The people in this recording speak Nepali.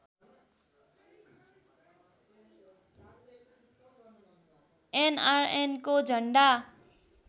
एनआरएनको झन्डा